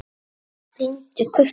Brýndu kutann.